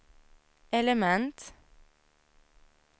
element